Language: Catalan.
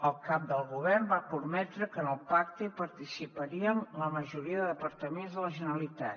el cap del govern va prometre que en el pacte hi participarien la majoria de departaments de la generalitat